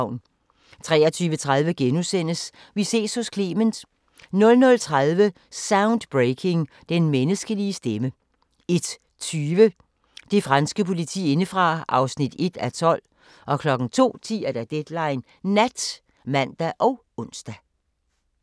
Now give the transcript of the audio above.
23:30: Vi ses hos Clement * 00:30: Soundbreaking – Den menneskelige stemme 01:20: Det franske politi indefra (1:12) 02:10: Deadline Nat (man og ons)